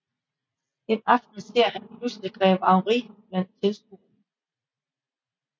En aften ser han pludselig Grev Henri blandt tilskuerne